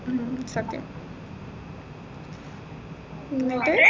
ഉം സത്യം എന്നിട്ട്